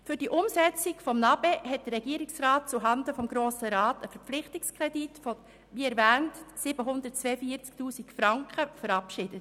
Für die Umsetzung des NA-BE hat der Regierungsrat – wie bereits erwähnt – zuhanden des Grossen Rates einen Verpflichtungskredit von 742 000 Franken verabschiedet.